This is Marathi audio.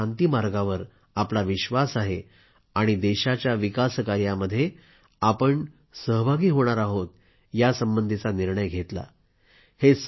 त्यांनीच आता शांतीमार्गावर आपला विश्वास आहे आणि देशाच्या विकासकार्यामध्ये सहभागी होण्याचा निर्णय घेतला